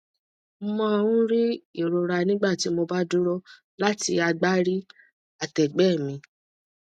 mo máa ń rí ìrora nígbà tí mo bá dúró láti agbárí àtẹgbẹ mi